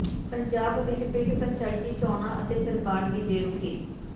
ਪੰਜਾਬ ਵਿੱਚ ਪਿੰਡ ਪੰਚਾਇਤੀ ਚੋਣਾਂ ਅਤੇ ਸਰਕਾਰ ਦੀ ਬੇਰੁਖੀ